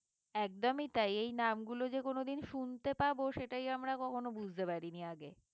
একদমই তাই এই নামগুলো যে কোনদিন শুনতে পাবো সেটাই আমরা কখনো বুঝতে পারিনি আগে